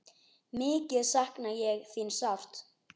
Mikið sakna ég þín sárt.